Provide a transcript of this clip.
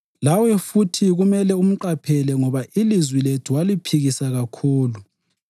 Lawe futhi kumele umqaphele ngoba ilizwi lethu waliphikisa kakhulu.